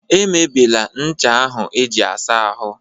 Emebịla ncha ahụ eji-asa ahụ